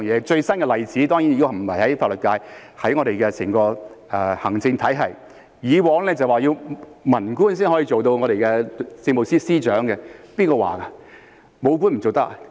最新的例子當然不是法律界，而是整個行政體系，以往說文官才能出任政務司司長，誰說的？